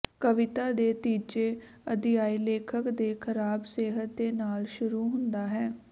ਕਵਿਤਾ ਦੇ ਤੀਜੇ ਅਧਿਆਇ ਲੇਖਕ ਦੇ ਖਰਾਬ ਸਿਹਤ ਦੇ ਨਾਲ ਸ਼ੁਰੂ ਹੁੰਦਾ ਹੈ